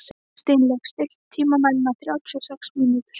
Steinlaug, stilltu tímamælinn á þrjátíu og sex mínútur.